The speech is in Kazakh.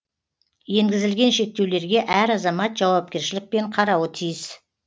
енгізілген шектеулерге әр азамат жауапкершілікпен қарауы тиіс